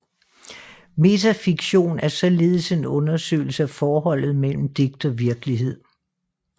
Metafiktion er således en undersøgelse af forholdet mellem digt og virkelighed